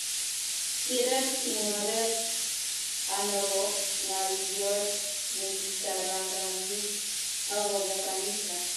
Kirir kingoret anobo ngalyot nekikararanit akobo kanisa